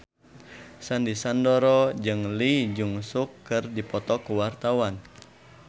Sandy Sandoro jeung Lee Jeong Suk keur dipoto ku wartawan